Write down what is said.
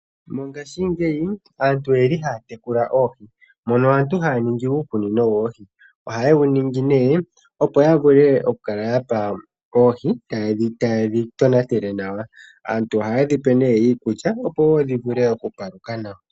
Mongashingeyi aantu oyeli haa tekula oohi. Mono aantu haya ningi uukunino woohi. Ohaye wu ningi nee opo ya vule oku kala yapa oohi taye dhi tonatele nawa. Aantu ohayedhi pe wo iikulya opo wo dhi vule oku paluka nawa.